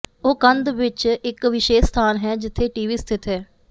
ਉਹ ਕੰਧ ਵਿਚ ਇਕ ਵਿਸ਼ੇਸ਼ ਸਥਾਨ ਹੈ ਜਿੱਥੇ ਟੀਵੀ ਸਥਿਤ ਹੈ